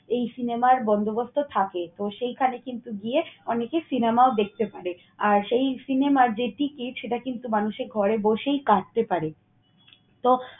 এই cinema র বন্দোবস্ত থাকে। তো, সেইখানে কিন্তু গিয়ে অনেকেই সিনেমাও দেখতে পারে আর সেই সিনেমার যে ticket সেটা কিন্তু মানুষের ঘরে বসেই কাটতে পারে। তো